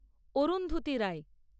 Arundhati Roy